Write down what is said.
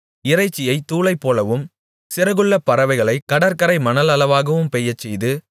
இறைச்சியை தூளைப்போலவும் சிறகுள்ள பறவைகளைக் கடற்கரை மணலளவாகவும் பெய்யச்செய்து